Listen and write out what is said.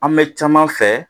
An bɛ caman fɛ